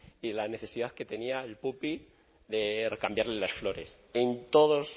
y la necesidad que tenía el puppy de cambiarle las flores en todos